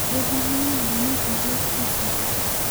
Doho nong'ado ni odwok pesago.